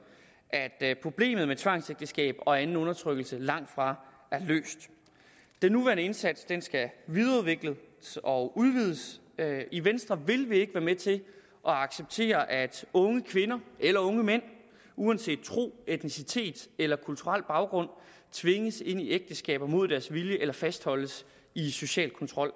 at problemet med tvangsægteskaber og anden undertrykkelse langtfra er løst den nuværende indsats skal videreudvikles og udvides i venstre vil vi ikke være med til at acceptere at unge kvinder eller unge mænd uanset tro etnicitet eller kulturel baggrund tvinges ind i ægteskaber mod deres vilje eller fastholdes i social kontrol